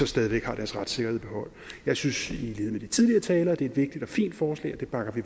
stadig væk har deres retssikkerhed i behold jeg synes i lighed med de tidligere talere at det er et vigtigt og fint forslag og det bakker vi